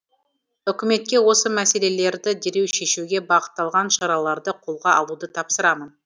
үкіметке осы мәселелерді дереу шешуге бағытталған шараларды қолға алуды тапсырамын